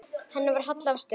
Henni var hallað að stöfum.